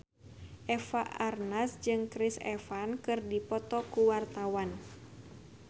Eva Arnaz jeung Chris Evans keur dipoto ku wartawan